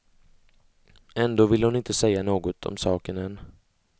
Ändå vill hon inte säga något om saken än.